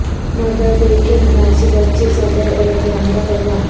mother day کے مناسبت سے صدر ایردوان کا پیغام